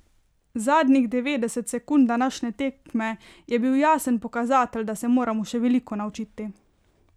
Zadnjih devetdeset sekund današnje tekme je bil jasen pokazatelj, da se moramo še veliko naučiti.